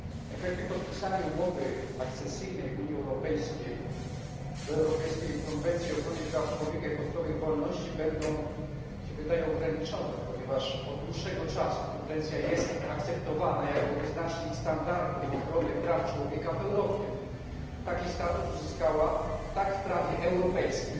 Efekty podpisania umowy akcesyjnej Unii Europejskiej do Europejskiej Konwencji o Ochronie Praw Człowieka i Podstawowych Wolności będą, jak się wydaje, ograniczone, ponieważ od dłuższego czasu konwencja jest akceptowana jako wyznacznik standardu ochrony praw człowieka w Europie. Taki status uzyskała tak w prawie europejskim,